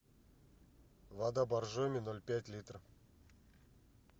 вода боржоми ноль пять литра